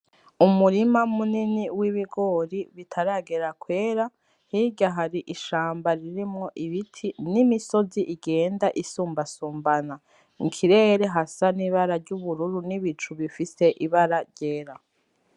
Umurima munini w'ibigori bitaragera kwera hirya hari ishamba ririmwo ibiti n'imisozi igenda isumbasumbana mu kirere hasa n'ibara ry'ubururu n'ibicu bifise ibara ryera.